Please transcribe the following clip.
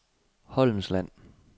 Holmsland